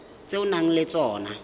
tse o nang le tsona